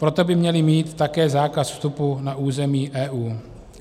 Proto by měli mít také zákaz vstupu na území EU.